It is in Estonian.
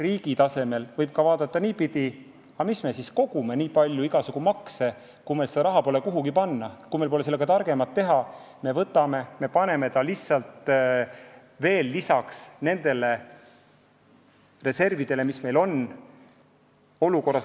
Riigi tasemel võib asja vaadata ka niipidi, et mis me siis kogume nii palju igasugu makse, kui meil seda raha pole kuhugi panna, kui meil pole sellega targemat teha, kui lisada see reservidele, mis meil on.